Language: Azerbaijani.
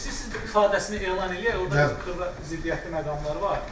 İstəyirsiz, bir ifadəsini elan eləyək, orda xırda ziddiyyətli məqamlar var.